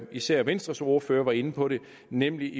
især venstres ordfører var inde på det nemlig